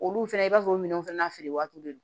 Olu fɛnɛ i b'a fɔ o minɛnw fɛnɛ na feere waatiw de don